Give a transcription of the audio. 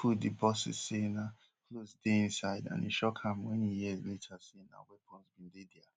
na im put di boces say na clothes dey inside and e shock am wen e hear later say na weapons bin dey dia